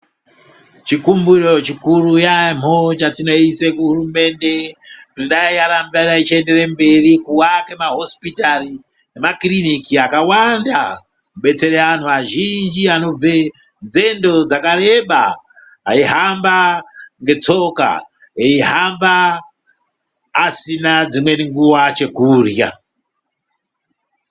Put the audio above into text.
Chikumbiro chikuru yaemho chatinoise kuhurumende kuti dai yaramba ichiendere mberi kuwake mahosipitari nemakirinika akawanda kubetsere antu azhinji anobve nzendo dzakareba , aihamba ngetsoka, eihamba asina dzimweni nguwa, chekurya.